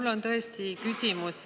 Mul on tõesti küsimus.